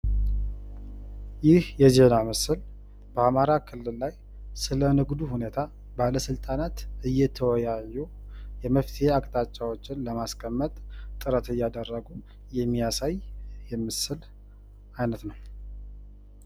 ይህ የዜና ምስል በአማራ ክልል ላይ ስለ ንግዱ ሁኔታ ባለስልጣናት እየተወያዩ መፍትሔ አቅጣጫዎችን ለማስቀመጥ ጥረት እያደረጉ የሚያሳይ የምስል አይነት ነዉ።